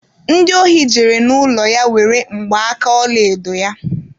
Ndi ohi jere n'ụlọ ya were mgba aka ọlaedo ya.